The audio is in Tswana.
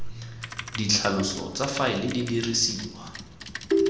ditlhaloso tsa faele di dirisiwa